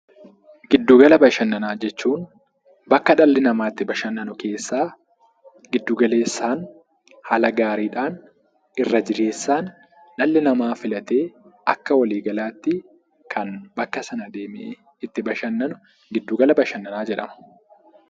Giddu gala bashannanaa jechuun bakka dhalli namaa itti bashannanu keessaa giddu galeessaan, haala gaariidhaan, irra jireessaan dhalli namaa filatee akka waliigalaatti kan bakka sana deemee itti bashannanu gidduu gala bashannanaa jedhama.